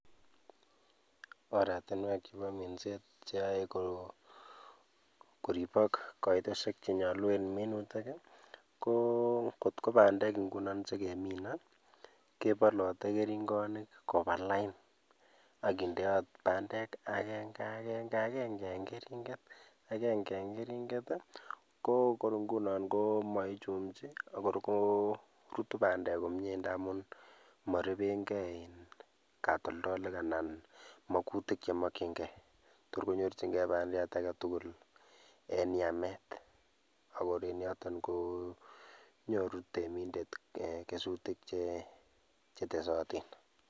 Oratinwek cheboo minset cheyoe koribok koitosiek chenyolu en minutik i, ko kotko bandek ng'unon chekemine kebolote kering'onik kobalain akindeot bandek akenga'keng'akeng'e en kering'et akeng'e en keringet i koo koring'unon kokor korutu bandek komnyee ndamun morebenkee iin katoldolik anan mokutik chemokyinkee, toor konyorchikee bandiat aketukul en yameet, akor en yoton konyoru temindet kesutik chetesotin.